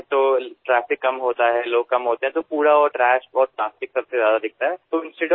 যেতিয়া পুৱা ট্ৰেফিক কম থাকে আৰু মই দৌৰো তেতিয়া পথত বিভিন্ন জাবৰ আৰু বিশেষকৈ প্লাষ্টিক অধিক দেখা পাও